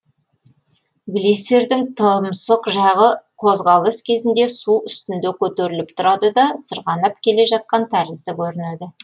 глиссердің тұмсық жағы қозғалыс кезінде су үстінде көтеріліп тұрады да сырғанап келе жатқан тәрізді көрінеді